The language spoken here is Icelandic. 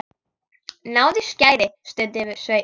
Náðu í skæri, stundi Sveinn.